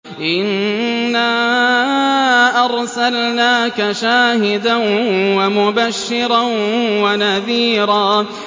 إِنَّا أَرْسَلْنَاكَ شَاهِدًا وَمُبَشِّرًا وَنَذِيرًا